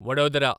Vadodara